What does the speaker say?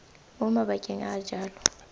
mo mabakeng a a jalo